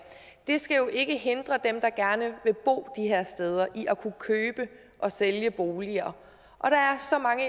det skal jo ikke hindre dem der gerne vil bo her steder i at kunne købe og sælge boliger og der er så mange